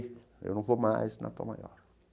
Eu não vou mais na Tom Maior.